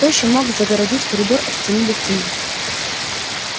кто ещё мог загородить коридор от стены до стены